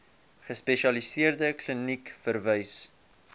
gespesialiseerde kliniek verwys